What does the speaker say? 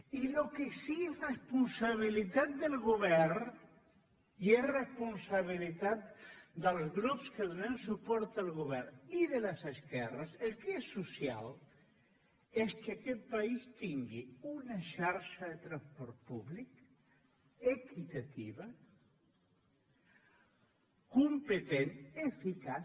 i el que sí que és responsabilitat del govern i és responsabilitat dels grups que donem suport al govern i de les esquerres el que és social és que aquest país tingui una xarxa de transport públic equitativa competent eficaç